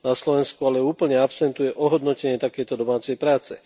Na Slovensku ale úplne absentuje ohodnotenie takejto domácej práce.